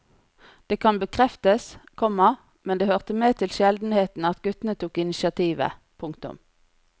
Det kan bekreftes, komma men det hørte med til sjeldenhetene at guttene tok initiativet. punktum